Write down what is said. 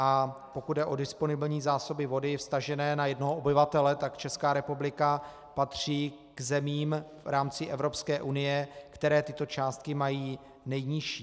A pokud jde o disponibilní zásoby vody vztažené na jednoho obyvatele, tak Česká republika patří k zemím v rámci Evropské unie, které tyto částky mají nejnižší.